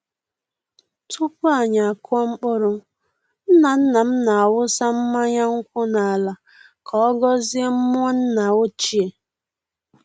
Tupu anyi akụọ mkpụrụ, nna-nna m na-awụsa mmanya nkwụ n’ala ka ọ gọzie mmụọ nna ochie.